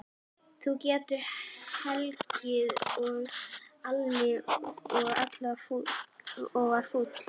Þú getur hlegið, sagði Alli og var fúll.